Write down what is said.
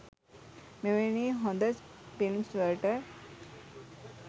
මෙවැනි හොද ෆිල්ම්ස් වලට